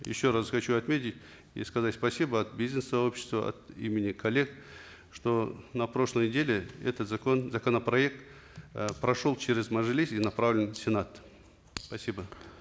еще раз хочу отметить и сказать спасибо от бизнес сообщества от имени коллег что на прошлой неделе этот закон законопроект э прошел через мажилис и направлен в сенат спасибо